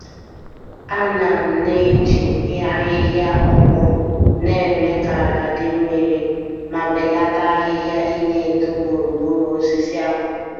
Ana m na-eji ahịhịa ọkpọ némè' ka ala dị mmiri, ma belata ahịhịa ineto gburugburu osisi akpu.